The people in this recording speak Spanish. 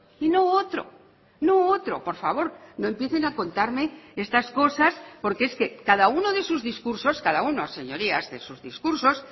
y no otro no otro por favor no empiecen a contarme estas cosas porque es que cada uno de sus discursos cada uno señorías de sus discursos